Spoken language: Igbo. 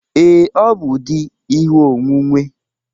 Ee, ọ bụ di ihe onwunwe